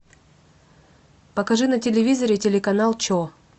покажи на телевизоре телеканал че